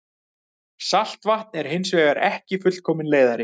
Saltvatn er hins vegar ekki fullkominn leiðari.